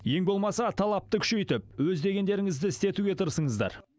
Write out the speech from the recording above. ең болмаса талапты күшейтіп өз дегендеріңізді істетуге тырысыңыздар